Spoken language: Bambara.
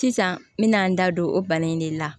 Sisan n me na n da don o bana in de la